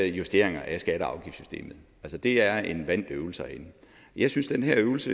justeringer af skatte og afgiftssystemet det er en vant øvelse herinde jeg synes den her øvelse